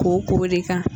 K'o ko de kan